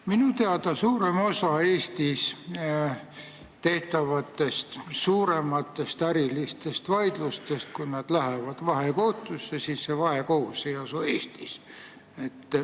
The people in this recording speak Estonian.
Minu teada on nii, et kui Eestis on tegu suuremate äriliste vaidlustega, mis lähevad vahekohtusse, siis enamiku puhul see vahekohus ei asu Eestis.